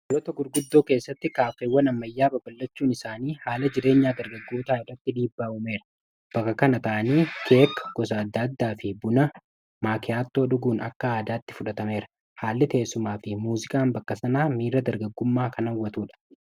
biyyoota gurguddoo keessatti kaafeewwa nammayyaa babalachuun isaanii haala jireenyaa dargaggoota irratti dhiibbaa uumeera bakka kana ta'anii keek gosa adda addaa fi buna maakiyaatoo dhuguun akka aadaatti fudhatameera haalli teessumaa fi muuzikaan bakkasanaa miira dargaggummaa kan hawwatuudha